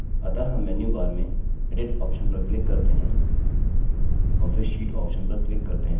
अतः हम menu bar में edit option पर click करते हैं और फिर sheet option पर click करते हैं